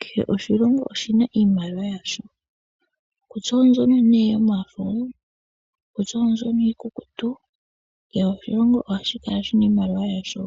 Kehe oshilongo oshina iimaliwa yasho kutya ombyono yomafo kutya ombyono iikukutu. Kehe oshilongo ohashi kala shina iimaliwa yasho